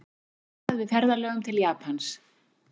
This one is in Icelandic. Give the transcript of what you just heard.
Varað við ferðalögum til Japans